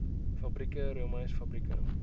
fabrieke roomys fabrieke